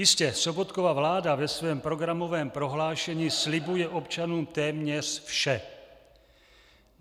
Jistě, Sobotkova vláda ve svém programovém prohlášení slibuje občanům téměř vše.